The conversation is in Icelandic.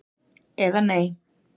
eða Nei?